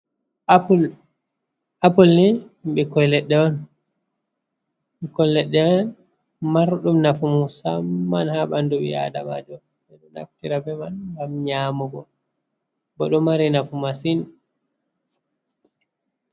Appul ni ɓikkoi leɗɗe on, ɓokkoi leɗɗe marɗum nafu musamman ha ɓandu ɓi aadamajo, ɓe ɗo naftira be man ngam nyamugo, bo ɗo mari nafu masin.